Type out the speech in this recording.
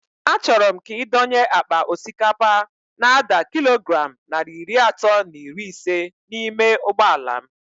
A chọrọ m ka ị dọnye àkpà osikapa n'ada kilogram narị iri atọ na iri isé n'ime ụgbọala m